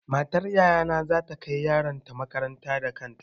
Matar yaya na za ta kai yaron ta makaranta da kanta.